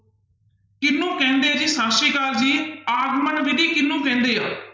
ਕਿਹਨੂੰ ਕਹਿੰਦੇ ਆ ਜੀ, ਸਤਿ ਸ੍ਰੀ ਅਕਾਲ ਜੀ, ਆਗਮਨ ਵਿੱਧੀ ਕਿਹਨੂੰ ਕਹਿੰਦੇ ਆ।